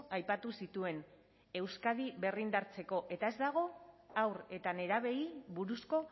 aipatu zituen euskadi berrindartzeko eta ez dago haur eta nerabeei buruzko